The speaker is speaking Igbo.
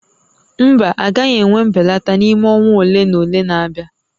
Mba, a gaghị enwe mbelata n'ime ọnwa ole na ole na-abịa